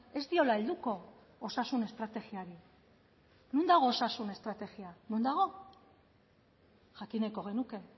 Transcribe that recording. ez diola helduko osasun estrategiari non dago osasun estrategia non dago jakin nahiko genuke